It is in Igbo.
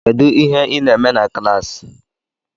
Kedu ihe ị na-eme na klaasi?